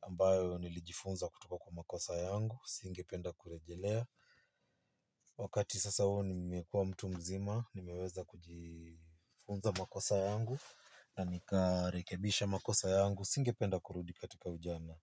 ambayo nilijifunza kutoka kwa makosa yangu. Singe penda kurejelea. Wakati sasa huo nimekua mtu mzima nimeweza kujifunza makosa yangu na nika rekebisha makosa yangu singependa kurudi katika ujana.